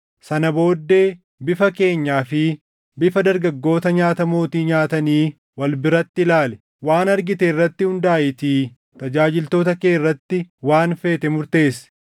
Sana booddee bifa keenyaa fi bifa dargaggoota nyaata mootii nyaatanii wal biratti ilaali; waan argite irratti hundaaʼiitii tajaajiltoota kee irratti waan feete murteessi.”